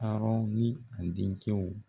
Arɔn ni a dencɛw